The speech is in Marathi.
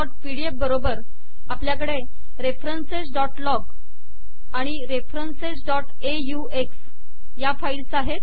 referencesपीडीएफ बरोबर आपल्याकडे referencesलॉग आणि referencesऑक्स या फाईल्स आहेत